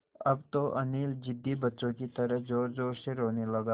अब तो अनिल ज़िद्दी बच्चों की तरह ज़ोरज़ोर से रोने लगा